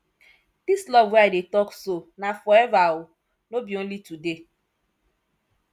dis love wey i dey talk so na forever o no be only today